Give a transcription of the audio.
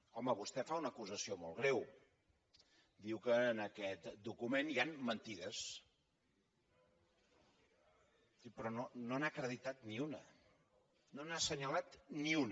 home vostè fa una acusació molt greu diu que en aquest document hi han mentides però no n’ha acreditat ni una no n’ha assenyalat ni una